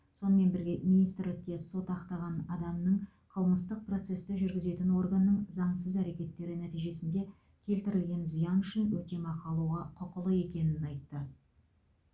сонымен бірге министрлікте сот ақтаған адамның қылмыстық процесті жүргізетін органның заңсыз әрекеттері нәтижесінде келтірілген зиян үшін өтемақы алуға құқылы екенін айтты